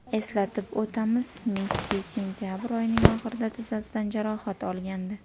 Eslatib o‘tamiz, Messi sentabr oyining oxirida tizzasidan jarohat olgandi .